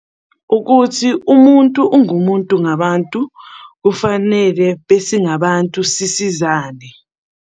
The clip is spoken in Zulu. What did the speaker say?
Ukuthi umuntu ungumuntu ngabantu, kufanele besingabantu sisizane.